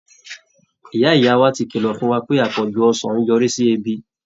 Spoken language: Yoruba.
Ìyá ìyá wa ti kìlọ̀ fún wa pé àpọ̀jù ọsàn ń yọrí sí ebi